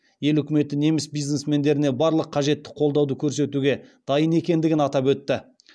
ел үкіметі неміс бизнесмендеріне барлық қажетті қолдауды көрсетуге дайын екендігін атап өтті